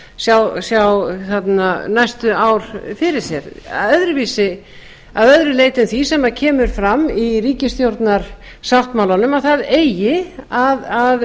og ríkisstjórn sjá næstu ár fyrir sér að öðru leyti en því sem kemur fram í ríkisstjórnarsáttmálanum að það eigi að